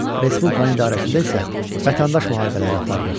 Respublika idarəsində isə vətəndaş müharibələri aparırıq.